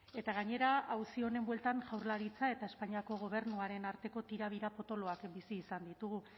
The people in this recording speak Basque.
eta gainera auzi honen bueltan jaurlaritza eta espainiako gobernuaren arteko tirabira potoloak bizi izan ditugu